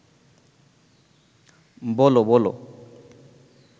বল বল